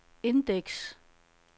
indeks